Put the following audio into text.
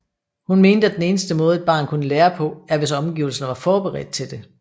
Hun mente at den eneste måde et barn kunne lære på er hvis omgivelserne var forberedt til det